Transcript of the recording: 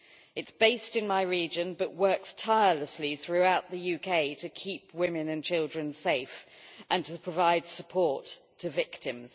It is based in my region but works tirelessly throughout the UK to keep women and children safe and provide support to victims.